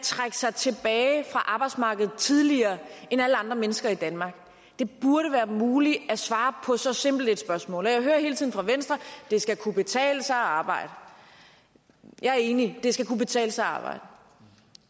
trække sig tilbage fra arbejdsmarkedet tidligere end alle andre mennesker i danmark det burde være muligt at svare på så simpelt et spørgsmål jeg hører hele tiden fra venstre at det skal kunne betale sig at arbejde jeg er enig det skal kunne betale sig at arbejde